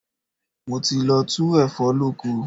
Mo ti lọ tu ẹ̀fọ́ lóko.